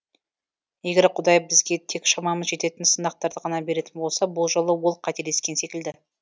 егер құдай бізге тек шамамыз жететін сынақтарды ғана беретін болса бұл жолы ол қателескен секілді